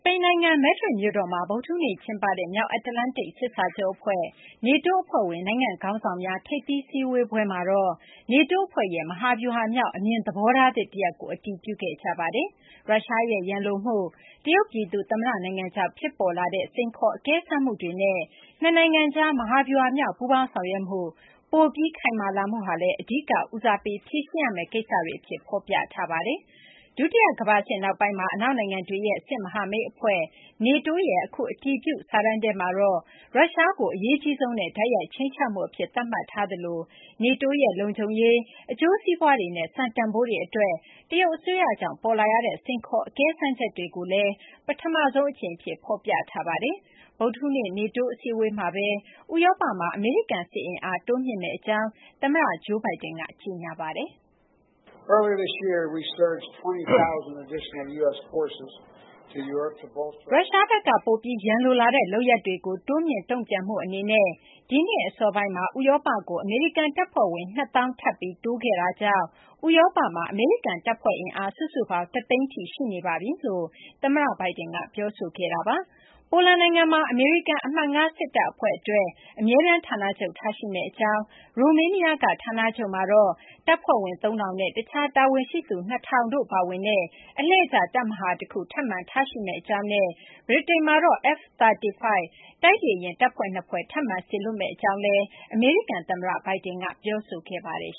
ိန်နိုင်ငံ Madrid မြို့တော်မှာ ဗုဒ္ဓဟူးနေ့ ကျင်းပတဲ့ မြောက်အတ္တလန္တိတ် စစ်စာချုပ် အဖွဲ့ NATO အဖွဲ့ဝင် နိုင်ငံ့ ခေါင်းဆောင်များ ထိပ်သီး စည်းဝေးပွဲမှာတော့ NATO အဖွဲ့ရဲ့ မဟာဗျူဟာမြောက် အမြင်သဘောထားသစ် တရပ်ကို အတည်ပြုခဲ့ကြပါတယ်။ ရုရှားရဲ့ ရန်လိုမှု၊ တရုတ် ပြည်သူ့ သမ္မတ နိုင်ငံကြောင့် ဖြစ်ပေါ်လာတဲ့ စိန်ခေါ် အကဲစမ်းမှုတွေနဲ့ နှစ်နိုင်ငံကြား မဟာဗျူဟာမြောက် ပူးပေါင်းဆောင်ရွက်မှု ပိုပြီး ခိုင်မာလာမှုဟာလည်း အဓိက ဦးစားပေး ဖြေရှင်းရမယ့် ကိစ္စတွေအဖြစ် ဖော်ပြထားပါတယ်။ ဒုတိယ ကမ ္ဘာစစ် နောက်ပိုင်းမှာ အနောက်နိုင်ငံတွေရဲ့ စစ်မဟာမိတ်အဖွဲ့ NATO ရဲ့အခု အတည်ပြု စာတမ်းထဲမှာတော့ ရုရှားကို အရေးကြီးဆုံးနဲ့ တိုက်ရိုက် ခြိမ်းခြောက်မှုအဖြစ် သတ်မှတ်ထားသလို NATO ရဲ့ လုံခြုံရေး၊ အကျိုးစီးပွားတွေနဲ့ စံတန်ဖိုးတွေ အတွက် တရုတ်အစိုးရကြောင့် ပေါ်လာရတဲ့ စိန်ခေါ် အကဲစမ်းချက်တွေကိုလည်း ပထမဆုံး အကြိမ် အဖြစ် ဖော်ပြထားပါတယ်။ ဗုဒ္ဓဟူးနေ့ NATO အစည်းအဝေးမှာပဲ ဥရောပမှာ အမေရိကန် စစ်အင်အား တိုးမြှင့်မယ့် အကြောင်း သမ္မတ Joe Biden က ကြေညာပါတယ်။ ရုရှားဘက်က ပိုပြီး ရန်လိုလာတဲ့ လုပ်ရပ်တွေကို တိုးမြှင့် တုံ့ပြန်မှု အနေနဲ့ ဒီနှစ် အစောပိုင်းမှာ ဥရောပကို အမေရိကန် တပ်ဖွဲ့ဝင် ၂၀,၀၀၀ ထပ်ပြီး တိုးခဲ့တာကြောင့် ဥရောပမှာ အမေရိကန် တပ်ဖွဲ့ အင်အား စုစုပေါင်း ၁၀၀,၀၀၀ ထိ ရှိနေပါပြီလို့ သမ္မတ Biden က ပြောဆိုခဲ့ပါတယ်။ ပိုလန်နိုင်ငံမှာ အမေရိကန် အမှတ် ၅ စစ်တပ် အဖွဲ့အတွက် အမြဲတမ်း ဌာနချုပ် ထားရှိမယ့် အကြောင်း၊ ရိုမေးနီးယားက ဌာနချုပ်မှာတော့ တပ်ဖွဲ့ဝင် ၃၀၀၀ နဲ့ တခြားတာဝန်ရှိသူ ၂၀၀၀ တို့ပါဝင်တဲ့ အလှည့်ကျ တပ်မဟာ တခု ထပ်မံထားရှိမယ့် အကြောင်းနဲ့ ဗြိတိန်မှာတော့ F-35 တိုက်လေယာဉ် တပ်ဖွဲ့ ၂ ဖွဲ့ ထပ်မံ စေလွှတ်မယ့် အကြောင်း သမ္မတ Biden က ပြောဆိုခဲ့ပါတယ်